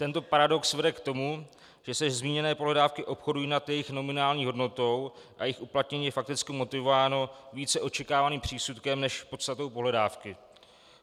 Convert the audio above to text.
Tento paradox vede k tomu, že se zmíněné pohledávky obchodují nad jejich nominální hodnotou a jejich uplatnění je fakticky motivováno více očekávaným přísudkem než podstatou pohledávky.